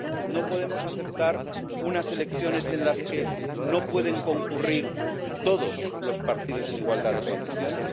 No podemos aceptar unas elecciones en las que no pueden concurrir todos los partidos en igualdad de condiciones.